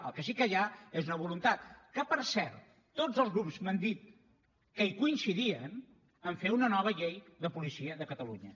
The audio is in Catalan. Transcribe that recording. el que sí que hi ha és una voluntat que per cert tots els grups m’han dit que hi coincidien a fer una nova llei de policia de catalunya